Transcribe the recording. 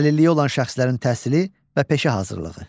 Əlilliyi olan şəxslərin təhsili və peşə hazırlığı.